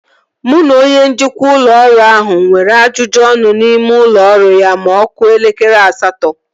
Mụ na onye njikwa ụlọ ọrụ ahụ nwere ajụjụ ọnụ n'ime ụlọ ọrụ ya ma ọ kụọ elekere asatọ